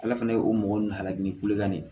Ala fana ye o mɔgɔ nun halaki ni kulekan de